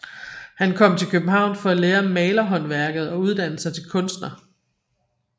Han kom til København for at lære malerhåndværket og uddanne sig til kunstner